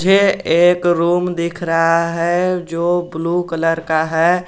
यह एक रूम दिख रहा है जो ब्लू कलर का है।